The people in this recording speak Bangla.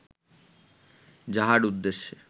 যাহার উদ্দেশ্য